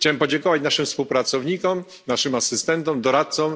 Chciałem podziękować naszym współpracownikom, asystentom, doradcom.